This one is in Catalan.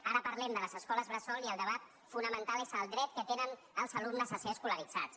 ara parlem de les escoles bressol i el debat fonamental és el dret que tenen els alumnes a ser escolaritzats